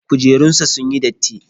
Kujerunsa ​​sunyi datti.